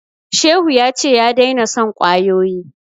Shehu ya ce ya daina son kwayoyi